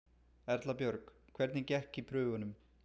Erla Björg: Hvernig gekk í prufunum?